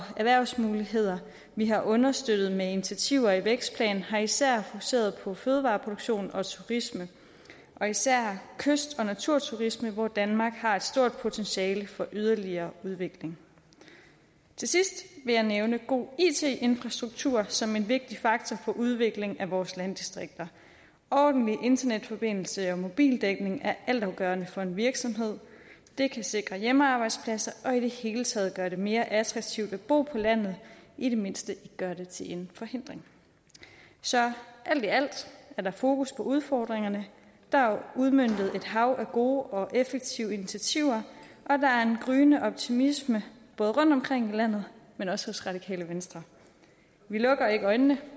erhvervsmuligheder vi har understøttet med initiativer i vækstplanen har især fokuseret på fødevareproduktion og turisme og især kyst og naturturisme hvor danmark har et stort potentiale for yderligere udvikling til sidst vil jeg nævne god it infrastruktur som en vigtig faktor for udviklingen af vores landdistrikter ordentlig internetforbindelse og mobildækning er altafgørende for en virksomhed det kan sikre hjemmearbejdspladser og i det hele taget gøre det mere attraktivt at bo på landet i det mindste ikke gøre det til en forhindring så alt i alt er der fokus på udfordringerne der er udmøntet et hav af gode og effektive initiativer og der er en gryende optimisme både rundtomkring i landet men også hos radikale venstre vi lukker ikke øjnene